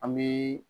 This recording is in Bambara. An bɛ